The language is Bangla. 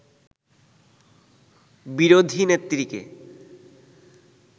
বিরোধী নেত্রীকে